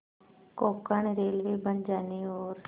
Konkan railway बन जाने और